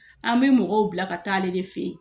An bɛ mɔgɔw bila ka taa ale de fɛ yen.